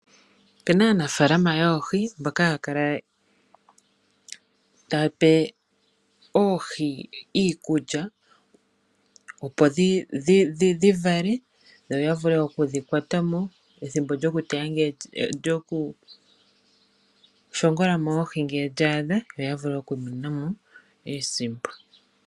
Opena aanafalama yoohi mbono haakala taape oohi iikulya opo dhi vale yo ya vule okudhi kwata pethimbo lyokuteya dhi teya mo nenge lyo ku dhi shingola mo ngele lya adha yoya vulu oku imonena mo iisimpo.